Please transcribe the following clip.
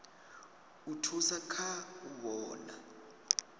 u thusa kha u vhona